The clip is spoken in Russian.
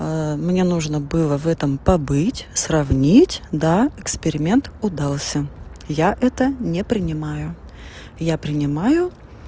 а мне нужно было в этом побыть сравнить да эксперимент удался я это не принимаю я принимаю